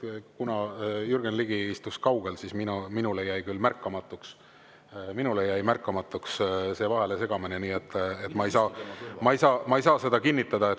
Kuna Jürgen Ligi istub kaugel, siis minule jäi märkamatuks see vahelesegamine, nii et ma ei saa seda kinnitada.